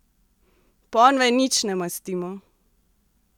Ponve nič ne mastimo!